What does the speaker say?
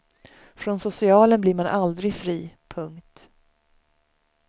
Från socialen blir man aldrig fri. punkt